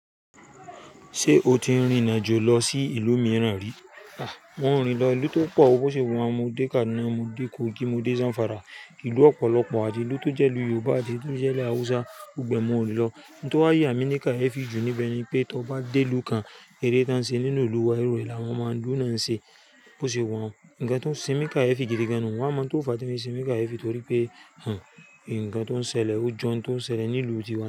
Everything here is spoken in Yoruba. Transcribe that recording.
Ṣé o ti rìrinàjò lọ sí ìlú mìíràn rí? À, mo rìn lọ ìlú tó pọ̀. Bó ṣe wà n mo dé Kaduna, mo dé Kogi, mo dé Zamfara. Ìlú ọ̀pọ̀lọpọ̀, àtí ìlú tó jẹ́ ìlú Yorùbá, àtí ìlú tó jẹ́lú Hausa. Gbogbo ẹ̀ mọ rín lọ. N tó wá yà mí ní ká e fi jù níbẹ̀ ni pé, tí ọ bá dé ìlú kan, eré tí wọ́n ń ṣe nínú ìlú wa, irú rẹ̀ làwọn ọmọ ń lú náà ń ṣe. Bó ṣe wà un. Ǹkan tó ń ṣe mí n káyéfì gidigan nu. Wọ́n mọ n tó fà tí ó ń ṣemí káyéfì torí pé, hun, ǹkan tó ń ṣẹlẹ̀, ojú ọ̀n tó ń ṣẹlẹ̀ ní ìlú tiwa.